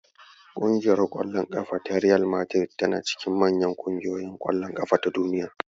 Ƙungiyar ƙwallon ƙafa ta Riyal Madari tana cikin manyan ƙungiyoyin ƙwallon ƙafa na Duniya.